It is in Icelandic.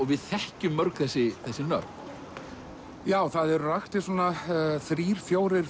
við þekkjum mörg þessi þessi nöfn já það eru raktir svona þrír fjórir